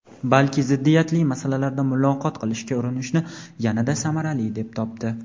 balki ziddiyatli masalalarda muloqot qilishga urinishni yanada samarali deb topdi.